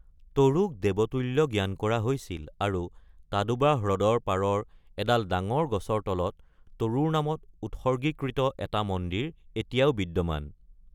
তৰুক দেৱতুল্য জ্ঞান কৰা হৈছিল আৰু তাডোবা হ্ৰদৰ পাৰৰ এডাল ডাঙৰ গছৰ তলত তৰুৰ নামত উৎসৰ্গীকৃত এটা মন্দিৰ এতিয়াও বিদ্যমান।